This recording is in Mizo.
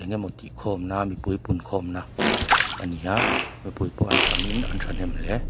emaw tih khawm na mipui punkhawm na a ni a mipui pawh an tamin an thahnem hle.